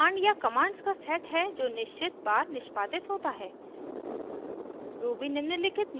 loop command या commands का set है जो निश्चित बार निष्पादित होता है